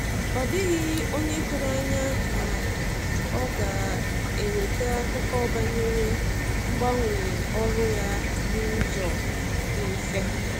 Ọ dịghị onye tụrụ anya na ọ ga-eweta akụkọ banyere mgbanwe ọrụ ya n'ụzọ di mfe